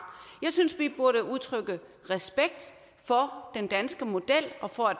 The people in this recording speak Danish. jeg synes vi burde udtrykke respekt for den danske model og for at